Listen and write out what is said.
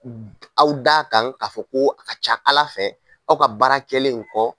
Aw d'a kan ka fɔ ko a ka ca ala fɛ, aw ka baara kɛlen in kɔ